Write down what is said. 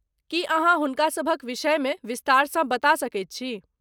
की अहाँ हुनकासभक विषयमे विस्तारसँ बता सकैत छी?